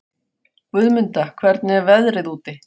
Guðmunda, hvernig er veðrið úti?